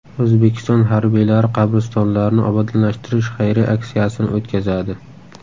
O‘zbekiston harbiylari qabristonlarni obodonlashtirish xayriya aksiyasini o‘tkazadi.